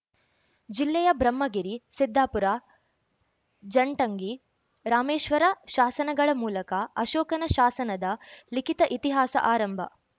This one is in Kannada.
ಜಿಲ್ಲೆಯ ಬ್ರಹ್ಮಗಿರಿ ಸಿದ್ದಾಪುರ ಜಟಂಗಿ ರಾಮೇಶ್ವರ ಶಾಸನಗಳ ಮೂಲಕ ಅಶೋಕನ ಶಾಸನದ ಲಿಖಿತ ಇತಿಹಾಸ ಆರಂಭ